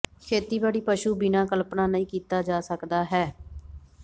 ਖੇਤੀਬਾੜੀ ਪਸ਼ੂ ਬਿਨਾ ਕਲਪਨਾ ਨਹੀ ਕੀਤਾ ਜਾ ਸਕਦਾ ਹੈ